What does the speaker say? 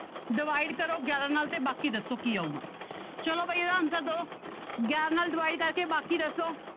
Divide ਕਰੋ ਗਿਆਰਾਂ ਨਾਲ ਤੇ ਬਾਕੀ ਦੱਸੋ ਕੀ ਆਊਗਾ ਚਲੋ ਬਾਈ ਇਹਦਾ answer ਦਓ ਗਿਆਰਾਂ ਨਾਲ divide ਕਰਕੇ ਬਾਕੀ ਦੱਸੋ।